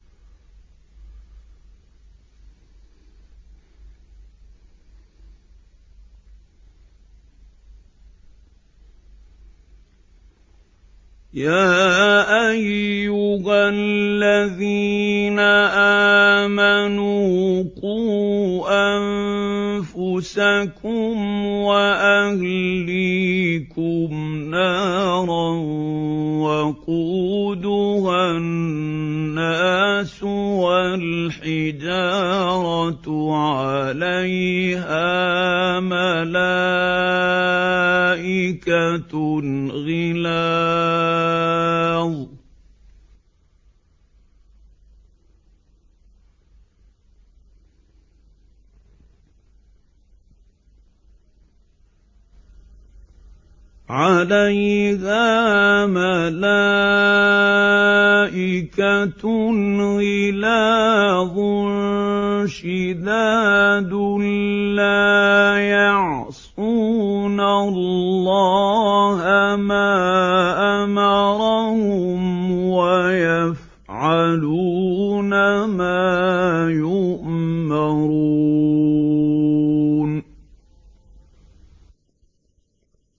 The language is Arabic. يَا أَيُّهَا الَّذِينَ آمَنُوا قُوا أَنفُسَكُمْ وَأَهْلِيكُمْ نَارًا وَقُودُهَا النَّاسُ وَالْحِجَارَةُ عَلَيْهَا مَلَائِكَةٌ غِلَاظٌ شِدَادٌ لَّا يَعْصُونَ اللَّهَ مَا أَمَرَهُمْ وَيَفْعَلُونَ مَا يُؤْمَرُونَ